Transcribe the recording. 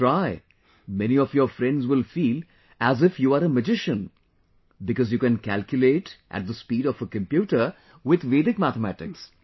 You try, many of your friends will feel as if you are a magician because you can calculate at the speed of a computer with Vedic mathematics